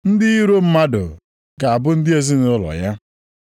ndị iro mmadụ ga-abụ ndị ezinaụlọ ya.’ + 10:36 \+xt Mai 7:6\+xt*